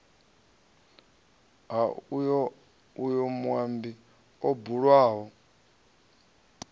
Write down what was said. ha uyo muambi o bulwaho